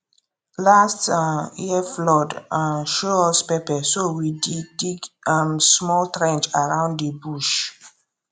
last um year flood um show us pepper so we dig dig um small trench around the bush